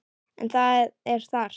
En það er þarft.